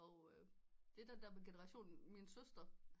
Og det er den der generation min søster